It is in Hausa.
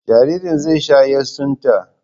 Jaririn zai sha yatsunta.